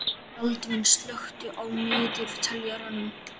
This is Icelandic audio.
Baldvin, slökktu á niðurteljaranum.